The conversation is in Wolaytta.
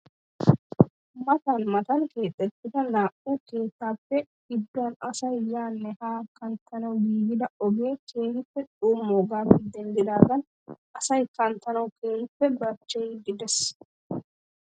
Matan matan keexettida naa"u keettaappe gidduwan asay yaanne haanne kanttanwu giigida ogee keehippe xummoogaappe denddaagan asay kanttanawu keehippe barchcheyiiddi de'ees.